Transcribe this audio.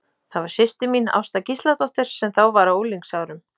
Það var systir mín, Ásta Gísladóttir, sem þá var á unglingsárum.